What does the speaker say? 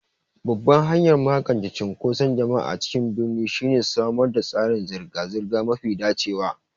Babban hanyar magance cunkoson jama'a a cikin birni shine samar da tsarin zirga-zirga mafi dacewa.